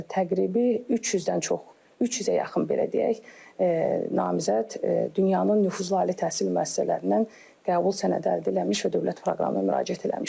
Təqribi 300-dən çox, 300-ə yaxın belə deyək, namizəd dünyanın nüfuzlu ali təhsil müəssisələrindən qəbul sənədi əldə eləmiş və dövlət proqramına müraciət eləmişdir.